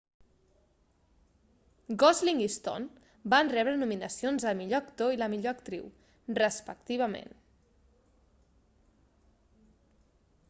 gosling i stone van rebre nominacions al millor actor i la millor actriu respectivament